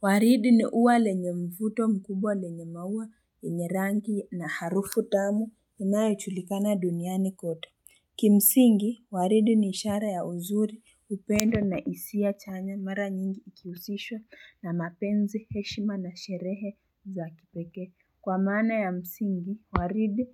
Waridi ni uwa lenye mvuto mkubwa lenye maua yenye rangi na harufu tamu inayo julikana duniani kota. Kimsingi, waridi ni ishara ya uzuri upendo na hisi chanya mara nyingi ikihusishwa na mapenzi heshima na sherehe za kipekee. Kwa maana ya msingi, waridi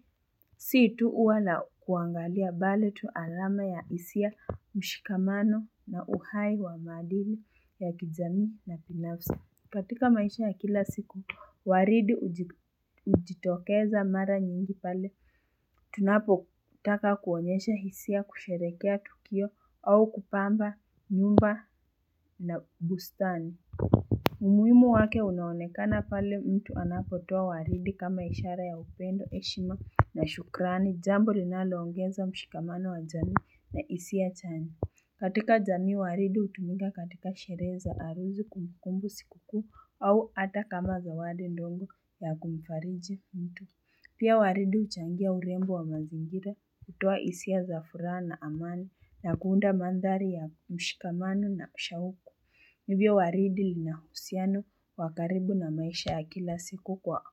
si tu uwa la kuangalia bali tu alama ya hisia mshikamano na uhai wa maadili ya kijami na binafsi. Katika maisha ya kila siku waridi hujitokeza mara nyingi pale tunapo taka kuonyesha hisia kusherekea tukio au kupamba nyumba na bustani umuhimu wake unaonekana pale mtu anapotoa waridi kama ishara ya upendo heshima na shukrani jambo linaloongeza mshikamano wa jamii na hisia chanya katika jamii waridi hutumika katika sherehe za harusi kumbukumbu sikukuu au ata kama zawadi ndongo ya kumfariji mtu. Pia waridi huchangia urembo wa mazingira kutoa hisia za furaha na amani na kuunda mandhari ya mshikamano na shauku. Hivyo waridi lina husiano wakaribu na maisha ya kila siku kwa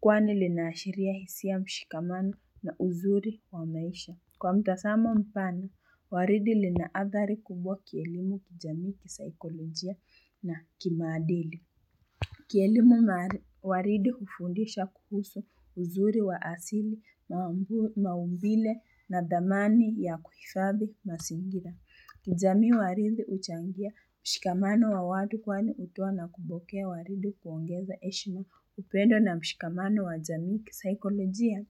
kwani linaashiria hisia mshikamano na uzuri wa maisha. Kwa mtasamo mpana, waridi linaadhari kubwa kielimu kijamii kisaikolojia na kimaadili. Kielimu waridi hufundisha kuhusu uzuri wa asili na maumbile na dhamani ya kuhifadhi mazingira. Kijami waridi huchangia mshikamano wa watu kwani ukiwa na kupokea waridi kuongeza heshima upendo na mshikamano wa jamii kisaikolojia.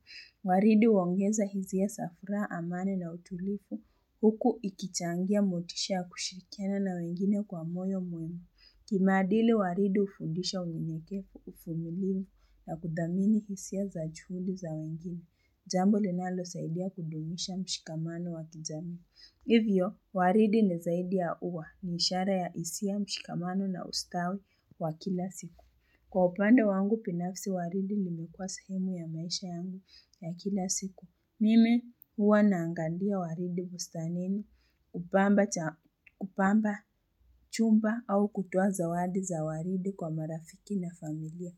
Waridi huongeza hizia za furaha amani na utulifu. Huku ikichangia motisha ya kushirikiana na wengine kwa moyo mwema Kimadili waridi hufundisha unyenyekevu uvumilivu na kudhamini hisia za chuli za wengine. Jambo linalo saidia kudumisha mshikamano wa kijamii. Hivyo, waridi ni zaidi ya uwa ni ishara ya hisia mshikamano na ustawi wa kila siku. Kwa upande wangu, binafsi waridi limekuwa sehemu ya maisha yangu ya kila siku. Mime, huwa naangalia waridi busta nini, kupamba chumba au kutoa zawadi za waridi kwa marafiki na familia.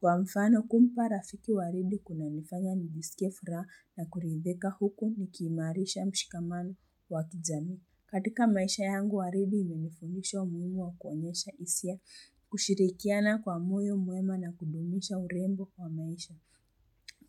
Kwa mfano, kumpa rafiki waridi kuna nifanya nisikie furaha na kurindhika huku nikiimarisha mshikamano wakijamii. Katika maisha yangu, waridi imenifundisha umuhimu wa kuonyesha hisia kushirikiana kwa moyo mwema na kudumisha urembo kwa maisha.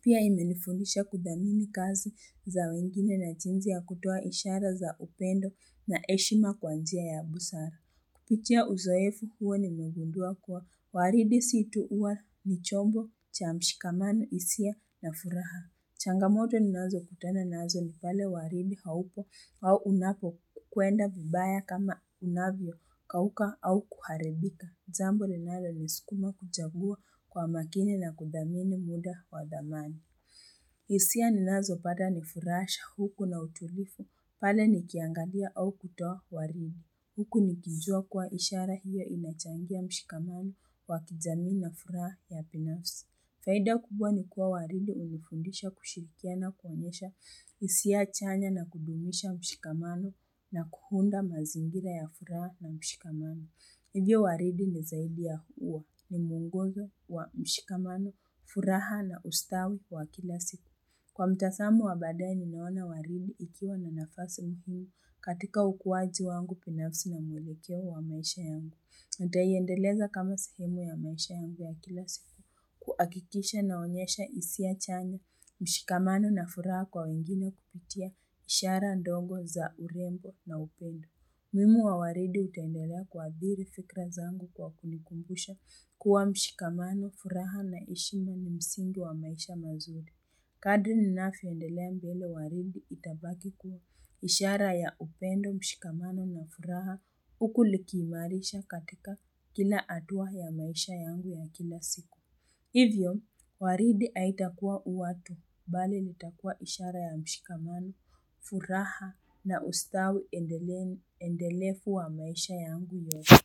Pia imenifundisha kudhamini kazi za wengine na jinzi ya kutoa ishara za upendo na heshima kwa njia ya abusara. Kupitia uzoefu huwa nimegundua kuwa waridi si tu uwa ni chombo cha mshikamano hisia na furaha. Changamoto ninazo kutana nazo ni pale waridi haupo au unapo kwenda vibaya kama unavyo kauka au kuharibika. Jambo linalo niskuma kuchangua kwa makini na kudhamini muda wa dhamani. Hisia ni nazo pata ni furaha shauku na utulivu pale nikiangalia au kutoa waridi. Huku nikijua kuwa ishara hiyo imechangia mshikamano wa kijamii na furaha ya binafsi. Faida kubwa ni kuwa waridi umefundisha kushirikina na kuonyesha hisia chanya na kudumisha mshikamano na kuunda mazingira ya furaha na mshikamano. Hivyo waridi ni zaidi ya uwa ni muongozo wa mshikamano, furaha na ustawi wa kila siku. Kwa mtazamo wabadae nimeona waridi ikiwa na nafasi muhimu katika ukuwaji wangu binafsi na mwelekeo wa maisha yangu. Uta iendeleza kama sehemu ya maisha yangu ya kila siku kuakikisha naonyesha hisia chanya mshikamano na furaha kwa wengine kupitia ishara ndongo za urembo na upendo. Umuhimu wa waridi utendelea kuathiri fikra zangu kwa kunikumbusha kuwa mshikamano furaha na heshima ni msingi wa maisha mazuri. Kadri ninavyo endelea mbele waridi itabaki kuwa ishara ya upendo mshikamano na furaha huku likiimarisha katika kila atuwa ya maisha yangu ya kila siku. Hivyo, waridi aitakua ua tu, bali litakua ishara ya mshikamano, furaha na ustawi endelefu wa maisha yangu yote.